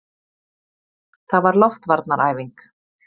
Það var loftvarnaæfing!